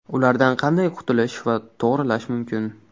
Ulardan qanday qutulish va to‘g‘rilash mumkin?